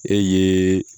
E ye